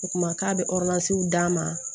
O kuma k'a bɛ d'a ma